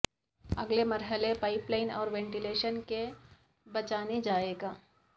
اگلے مرحلے pipeline اور وینٹیلیشن کے بچھانے جائے گا